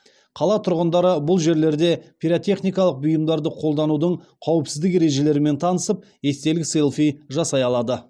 қала тұрғындары бұл жерлерде пиротехникалық бұйымдарды қолданудың қауіпсіздік ережелерімен танысып естелік селфи жасай алады